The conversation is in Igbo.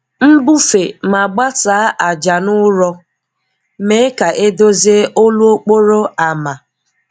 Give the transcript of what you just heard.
Mbufee ma gbasaa ájá na ụ̀rọ̀, mee ka e dozie olu okporo ámá.